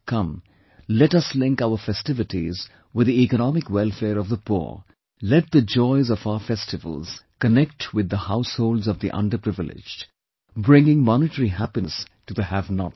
Come, let us link our festivities with the economic welfare of the poor, let the joys of our festivals connect with the households of the underprivileged, bringing monetary happiness to the havenots